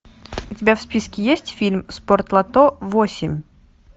у тебя в списке есть фильм спортлото восемь